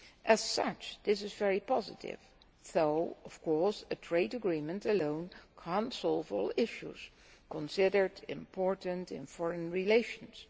As such, this is very positive, though of course a trade agreement alone cannot solve all the issues considered important in foreign relations.